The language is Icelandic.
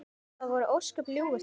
Það voru ósköp ljúfir tímar.